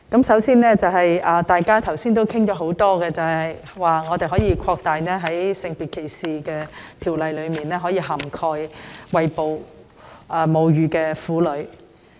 首先，大家剛才發言時多次提到，應把《性別歧視條例》的涵蓋範圍擴大至餵哺母乳的婦女。